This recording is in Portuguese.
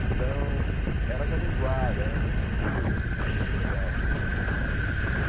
Então, era jovem guarda, era muito puro, era muito legal tudo isso que acontecia.